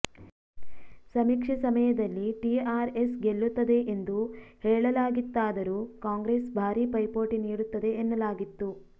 ಸಮೀಕ್ಷೆ ಸಮಯದಲ್ಲಿ ಟಿಆರ್ಎಸ್ ಗೆಲ್ಲುತ್ತದೆ ಎಂದು ಹೇಳಲಾಗಿತ್ತಾದರೂ ಕಾಂಗ್ರೆಸ್ ಭಾರಿ ಪೈಪೋಟಿ ನೀಡುತ್ತದೆ ಎನ್ನಲಾಗಿತ್ತು